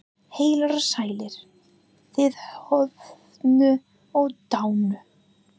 Heilir og sælir, þið horfnu og dánu.